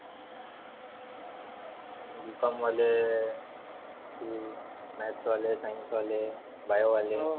Bcom वाले Maths वाले science वाले. bio वाले